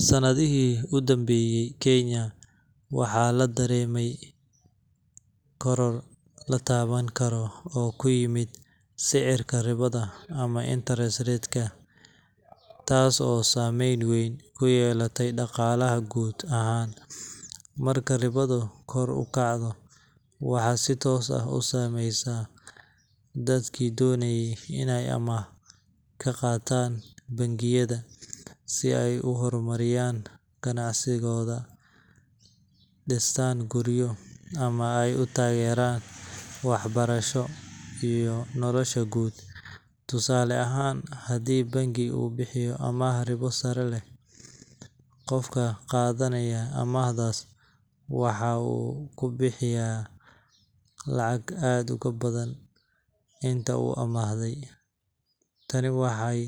Sanadihii u dambeeyay, Kenya waxaa laga dareemay koror la taaban karo oo ku yimid sicirka ribada ama interest rate ka, taas oo saameyn weyn ku yeelatay dhaqaalaha guud ahaan. Marka ribadu kor u kacdo, waxay si toos ah u saameysaa dadkii doonayay inay amaah ka qaataan bangiyada si ay u horumariyaan ganacsiyadooda, dhistaan guryo, ama ay u taageeraan waxbarasho iyo nolosha guud. Tusaale ahaan, haddii bangi uu bixiyo amaah ribo sare leh, qofka qaadanaya amaahdaas waxa uu ku bixinayaa lacag aad uga badan inta uu amaahday. Tani waxay